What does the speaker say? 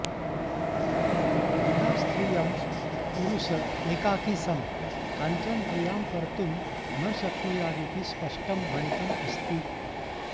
विना स्त्रियं पुरुष एकाकी सन् काञ्चन क्रियां कर्त्तुं न शक्नुयादिति स्पष्टं भणितम् अस्ति